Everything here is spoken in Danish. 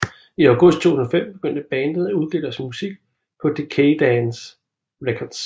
I august 2005 begyndte bandet at udgive deres musik på Decaydance Records